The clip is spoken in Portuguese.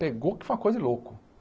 Pegou que foi uma coisa de louco.